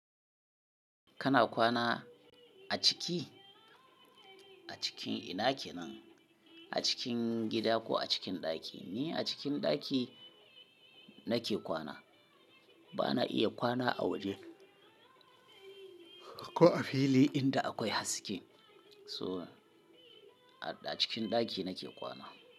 Kana kwana a ciki? A cikin ina ke nan, a cikin gida ko a cikin ɗaki? Ni a cikin ɗaki nake kwana. Bana iya kwana a waje ko a fili inda akwai haske. So a cikin ɗaki nake kwana.